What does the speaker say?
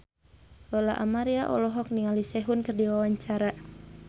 Lola Amaria olohok ningali Sehun keur diwawancara